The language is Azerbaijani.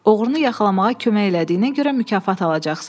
Oğrunu yaxalamağa kömək elədiyinə görə mükafat alacaqsan.